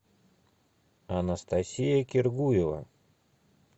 анастасия киргуева